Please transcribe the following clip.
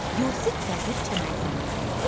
Yusif Vəzir Çəmənzəminli.